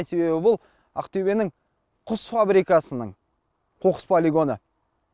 себебі бұл ақтөбенің құс фабрикасының қоқыс полигоны